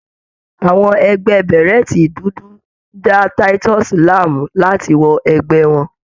Àwọn ẹgbẹ́ bèrẹ́tì dúdú ń da Titus láàmú láti wọ ẹgbẹ́ àwọn.